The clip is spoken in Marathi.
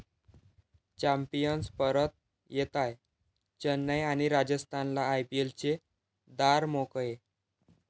चॅम्पियन्स परत येताय, चेन्नई आणि राजस्थानला आयपीएलचे दार मोकळे!